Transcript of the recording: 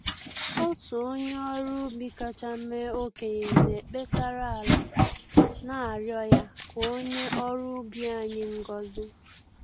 Otu onye ọrụ ubi kacha mee okenye na-ekpesara ala, na-arịọ ya ka o nye ọrụ ugbo anyị ngozị